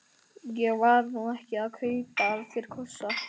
Ég var nú ekki að kaupa af þér kossa.